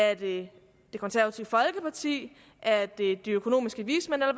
er det det konservative folkeparti er det de økonomiske vismænd eller